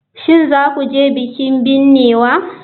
Shin za ku je bikin binnewa?